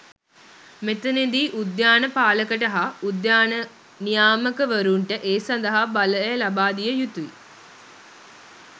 මෙතනදී උද්‍යාන පාලකට හා උද්‍යාන නියාමකවරුන්ට ඒ සඳහා බලය ලබාදිය යුතුයි.